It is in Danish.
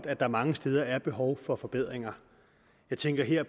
at der mange steder er behov for forbedringer jeg tænker her